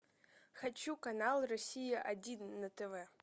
хочу канал россия один на тв